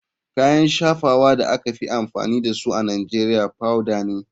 Kayan shafawa da aka fi amfani da su a nigeria powader ne.